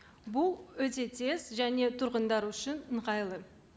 бұл өте тез және тұрғындар үшін ыңғайлы